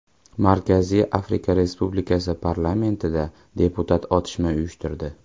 Markaziy Afrika Respublikasi parlamentida deputat otishma uyushtirdi.